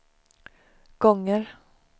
gånger